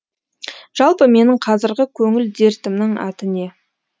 жалпы менің қазіргі көңіл дертімнің аты не